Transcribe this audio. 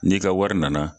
N'i ka wari nana